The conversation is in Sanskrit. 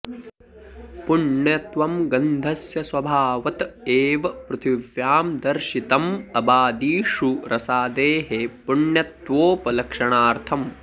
पुण्यत्वं गन्धस्य स्वभावत एव पृथिव्यां दर्शितम् अबादिषु रसादेः पुण्यत्वोपलक्षणार्थम्